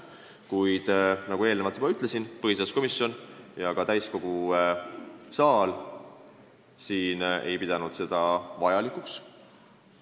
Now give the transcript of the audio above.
Kuid nagu ma eelnevalt juba ütlesin, põhiseaduskomisjon ja ka täiskogu saal ei pidanud seda vajalikuks.